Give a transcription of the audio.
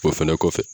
O fɛnɛ kɔfɛ